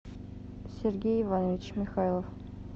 сергей иванович михайлов